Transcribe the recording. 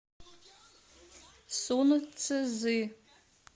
сунцзы